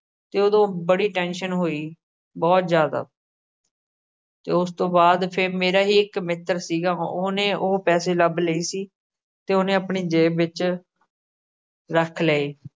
ਤੇ ਉਦੋ ਬੜੀ tension ਹੋਈ। ਬਹੁਤ ਜਿਆਦਾ ਤੇ ਉਸ ਤੋਂ ਬਾਅਦ ਫਿਰ ਮੇਰਾ ਹੀ ਇੱਕ ਮਿੱਤਰ ਸੀਗਾ। ਉਹਨੇ ਉਹ ਪੈਸੇ ਲੱਭ ਲਏ ਸੀ ਤੇ ਉਹਨੇ ਉਹ ਆਪਣੀ ਜੇਬ ਵਿੱਚ ਰੱਖ ਲਏ।